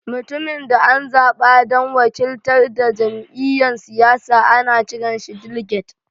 Mutumin da an zaba dan wakiltar da jami'yyan siyasa ana kiran shi "diliget."